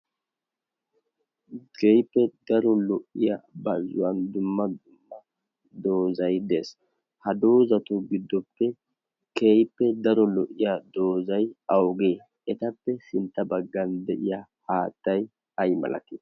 geippe daro lo'iya bazzuwan dumma dumma doozai dees ha doozatu giddoppe keippe daro lo'iya doozai augee etappe sintta baggan de'iya haattai ay malate?